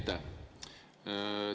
Aitäh!